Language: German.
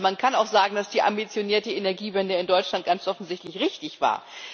Man kann auch sagen, dass die ambitionierte Energiewende in Deutschland ganz offensichtlich richtig war.